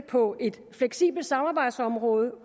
på et fleksibelt samarbejdsområde